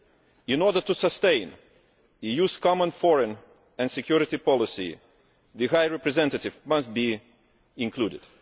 In order to sustain the EU's Common Foreign and Security Policy the High Representative must be included.